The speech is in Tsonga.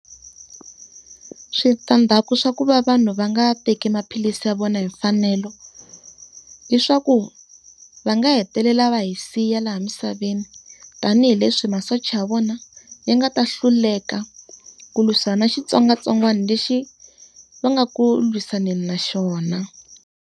Switandzhaku swa ku va vanhu va nga teki maphilisi ya vona hi mfanelo, i swa ku va nga hetelela va hi siya laha misaveni. Tanihi leswi masocha ya vona yi nga ta hluleka ku leswin'wana xitsongwatsongwana lexi va nga ku lwisaneni na xona.